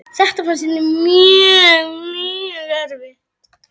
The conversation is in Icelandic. Þetta fannst henni mjög erfitt.